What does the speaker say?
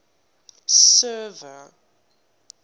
server